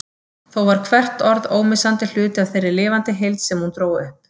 Þó var hvert orð ómissandi hluti af þeirri lifandi heild sem hún dró upp.